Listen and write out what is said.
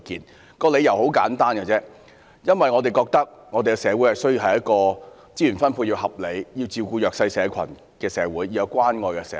反對的理由很簡單，因為我們認為我們需要一個資源分配合理、照顧弱勢社群的社會，一個有關愛的社會。